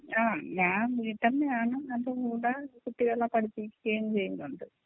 ആ ഞാൻ വീട്ടമ്മയാണ് അതിൻ്റെ കൂടെ കുട്ടികളെ പഠിപ്പിക്കുകയും ചെയ്യുന്നുണ്ട്.